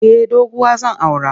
Eh doguwa zan aura.